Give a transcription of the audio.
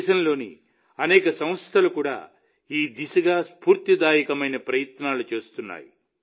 దేశంలోని అనేక సంస్థలు కూడా ఈ దిశగా చాలా స్ఫూర్తిదాయకమైన ప్రయత్నాలు చేస్తున్నాయి